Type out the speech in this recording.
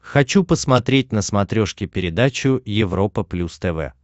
хочу посмотреть на смотрешке передачу европа плюс тв